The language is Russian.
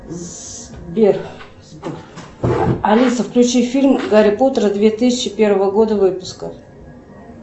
сбер алиса включи фильм гарри поттер две тысячи первого года выпуска